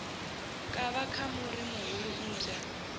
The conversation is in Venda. kavha ka muri muhulu mmbwa